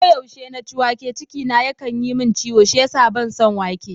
Ko yaushe na ci wake, ciki na yakan yi min ciwo shi yasa ban son wake.